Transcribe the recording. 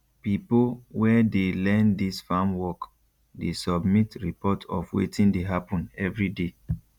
pipo wey dey learn dis farm work dey submit report of wetin dey happen everyday